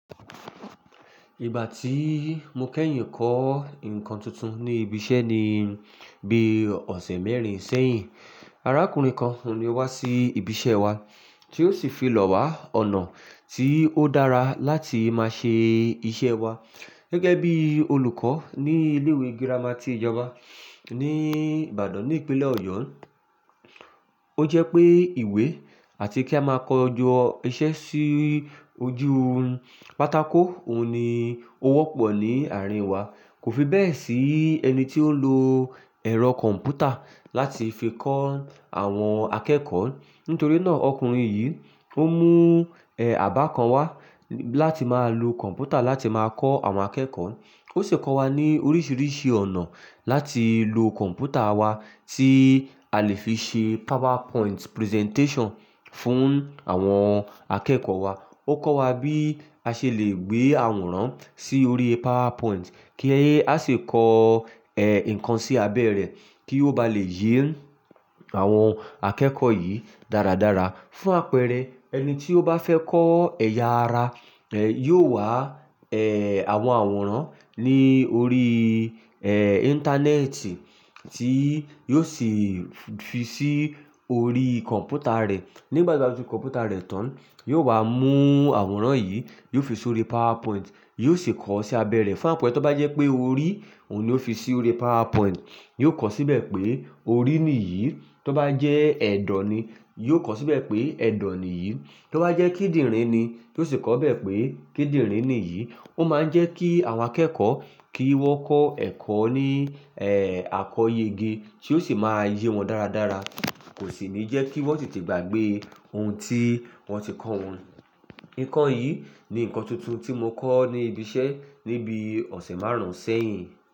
Ìgbà tí mo kẹ́yìn kọ́ nǹkan tuntun ní ibi iṣẹ́ ni bí ọ̀sẹ̀ mẹ́rin sẹ́yìn. Arákùnrin kan ni wá sí ibi iṣẹ́ wa tí ó sì fi lọ wá ọ̀nà tí ó dára láti máa ṣe iṣẹ́ wa. Gẹ́gẹ́ bí olùkọ́ ní ilé ìwé girama tí ìjọba ní Ìbàdàn ní ìpínlẹ̀ Ọ̀yọ́. Ó jẹ́ pé ìwé àti kí a máa kọjọ iṣẹ́ sí ojú pátákó òun ni ó wọ́pọ̀ ní àárín wa. Kò fi bẹ́ẹ̀ sí ẹni tí ó lo ẹ̀rọ kọ̀m̀pútà láti fi kọ́ àwọn akẹ́kọ̀ọ́. Nítorí náà ọkùnrin yìí ó mú, ẹ́, àbá kan wá láti máa lo kọ̀m̀pútà láti máa kọ́ àwọn akẹ́kọ̀ọ́. Ó sì kọ́ wa ní oríṣiríṣi ọ̀nà láti lo kọ̀m̀pútà wa tí a lè fi ṣe PowerPoint presentation fún àwọn akẹ́kọ̀ọ́ wa. Ó kọ́ wa bí a ṣe lè gbé àwòrán sí orí PowerPoint kí a sì kọ, ẹ́, nǹkan sí abẹ́ rẹ̀ kí ó bá lè yé àwọn akẹ́kọ̀ọ́ yìí dáradára. Fún àpẹẹrẹ, ẹni tí ó bá fẹ́ kọ́ ẹ̀yà ara, ẹ́, yóò wá, ẹ́, àwọn àwòrán ní orí, ẹ́, Íńtánẹ́ẹ̀tì tí yóò sì fi sí orí kọ̀m̀pútà rẹ̀. Nígbà tí ó fi kọ̀m̀pútà rẹ̀ tán, yóò wá mú àwòrán yìí, yóò fi sí orí PowerPoint, yóò sì kọ́ ọ sí abẹ́ rẹ̀. Fún àpẹẹrẹ, tó bá jẹ́ pé orí òun ni ó fi sí orí PowerPoint, yóò kọ̀ ọ́ síbẹ̀ pé orí nìyí. Tó bá jẹ́ ẹ̀dọ̀ ni, yóò kọ̀ ọ́ síbẹ̀ pé ẹ̀dọ̀ nìyí. Tó bá jẹ́ kíndìnrín ni, yóò sì kọ́ ọ bẹ́ẹ̀ pé kíndìnrín nìyí. Ó máa ń jẹ́ kí àwọn akẹ́kọ̀ọ́ kí wọ́n kọ́ ẹ̀kọ́ ní, ẹ́, àkọyẹgẹ́ tí ó sì máa yé wọn dáradára. Kò sì ní jẹ́ kí wọ́n ò tìtí gbàgbé ohun tí wọ́n ti kọ́ wọn. Nǹkan yìí ni nǹkan tuntun tí mo kọ́ ní ibi iṣẹ́ ní bí ọ̀sẹ̀ márùn-ún sẹ́yìn.